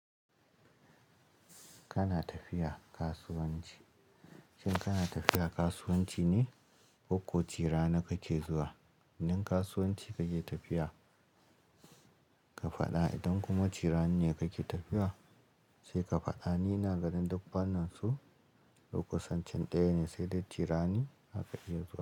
Kana tafiya kasuwanci. Shin kana tafiya kasuwanci ne ko ko ci-rani kake zuwa? In kasuwanci kake tafiya ka faɗa idan kuma cirani ne kake tafiya sai ka faɗa. Ni ina ganin duk fannin su duk kusan ɗaya ne, sai dai cirani haka yake zuwa.